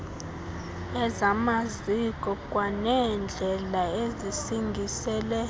ezamaziko kwaneendlela ezisingisele